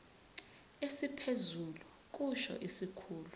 esiphezulu kusho isikhulu